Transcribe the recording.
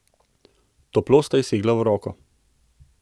Toplo sta ji segli v roko.